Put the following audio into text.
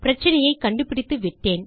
பிரச்சினையை கண்டுபிடித்து விட்டேன்